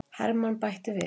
Hermann bætti við.